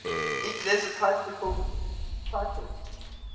ecclesiastical titles